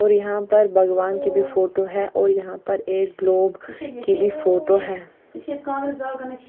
और यहां पर भगवान की भी फोटो है और यहां पर एक ग्लोब की भी फोटो है।